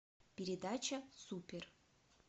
передача супер